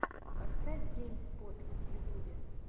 поставь гейм спот в ютубе